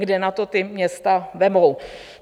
Kde na to ta města vezmou?